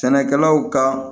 Sɛnɛkɛlaw ka